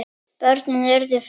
Börnin urðu fimm.